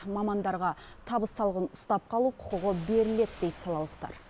мамандарға табыс салығын ұстап қалу құқығы беріледі дейді салалықтар